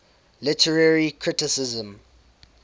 literary criticism